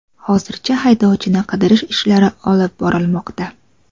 Hozirda haydovchini qidirish ishlari olib borilmoqda.